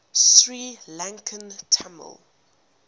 sri lankan tamil